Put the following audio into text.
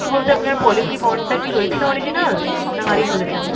বলতে আপনার policy bond টা কি রয়েছে original? না হারিয়ে ফেলেছেন ?